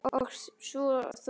Og svo þú.